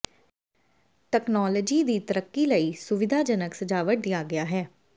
technology ਦੀ ਤਰੱਕੀ ਲਈ ਸੁਵਿਧਾਜਨਕ ਸਜਾਵਟ ਦੀ ਆਗਿਆ ਹੈ